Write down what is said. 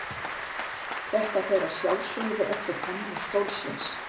þetta fer að sjálfsögðu eftir hönnun stólsins